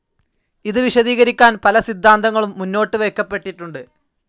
ഇത് വിശദീകരിക്കാൻ പല സിദ്ധാന്തങ്ങളും മുന്നോട്ട് വയ്ക്കപ്പെട്ടിട്ടുണ്ട്.